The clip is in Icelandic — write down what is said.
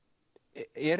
er